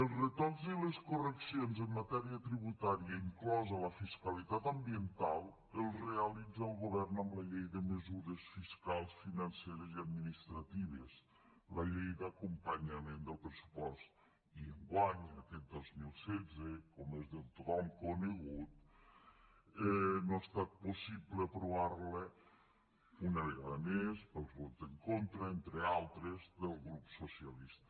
els retocs i les correccions en matèria tributària inclosa la fiscalitat ambiental els realitza el govern amb la llei de mesures fiscals financeres i administratives la llei d’acompanyament del pressupost i enguany aquest dos mil setze com és de tothom conegut no ha estat possible aprovar la una vegada més pels vots en contra entre altres del grup socialista